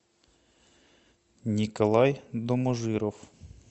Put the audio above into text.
николай доможиров